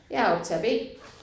Jeg er optager B